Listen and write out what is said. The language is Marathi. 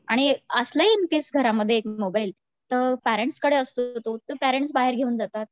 आणि असला इन केस घरामध्ये मोबाईल तर पेरेंट्स कडे असतो तर पेरेंट्स बाहेर घेऊन जातात